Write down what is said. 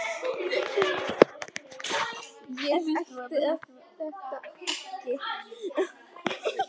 Ég gæti það ekki.